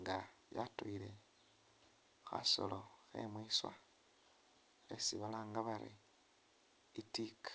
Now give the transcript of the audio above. nga yatuyile khasolo khe mwiswa khesi balanga bari i'tiika.